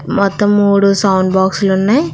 మొత్తం మూడు sound box లున్నాయ్ .